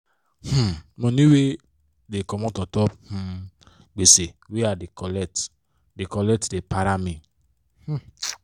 um money wey bank da comot untop um gbese wey i colet da colet da para me um